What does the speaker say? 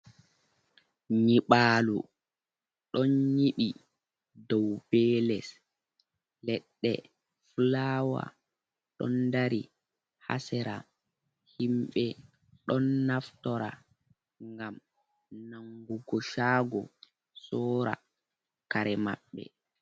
Nyiɓalo ɗon nyiɓi dow be les, leɗɗe fulawa ɗon dari haa sera, himɓe ɗon naftora ngam nangugo shago sora kare maɓɓe.